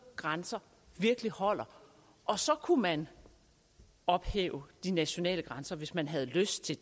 grænser virkelig holder og så kunne man ophæve de nationale grænser hvis man havde lyst til